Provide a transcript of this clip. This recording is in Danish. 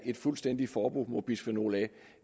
et fuldstændigt forbud mod bisfenol a